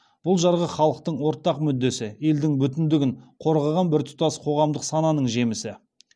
бұл жарғы халықтың ортақ мүддесі елдің бүтіндігін қорғаған біртұтас қоғамдық сананың жемісі